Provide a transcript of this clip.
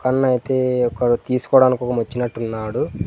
అన్న అయితే అక్కడ తీసుకోడానికి కోసం వచ్చినట్టు ఉన్నాడు.